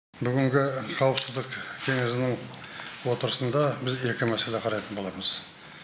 бүгінгі қауіпсіздік кеңесінің отырысында біз екі мәселе қарайтын боламыз